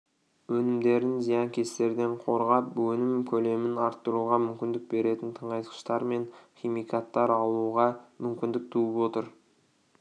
өнімдерін зиянкестерден қорғап өнім көлемін арттыруға мүмкіндік беретін тыңайтқыштар мен химикаттар алуға мүмкіндік туып отыр